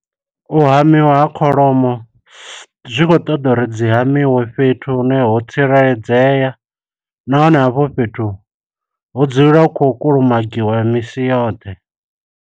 U hamiwa ha kholomo, zwi khou ṱoḓa uri dzi hamiwa fhethu hune ho tsireledzea, nahone hafho fhethu, hu dzulela hu khou kulumagiwa misi yoṱhe.